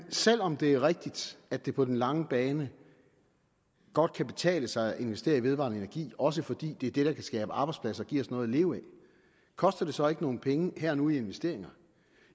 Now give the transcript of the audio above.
selv om det er rigtigt at det på den lange bane godt kan betale sig at investere i vedvarende energi også fordi det er det der kan skabe arbejdspladser og give os noget at leve af koster det så ikke nogen penge her og nu i investeringer